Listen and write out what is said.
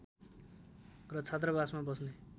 र छात्रावासमा बस्ने